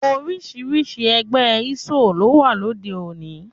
Oríṣiríṣi ẹgbẹ́ isoe ló wà lóde òní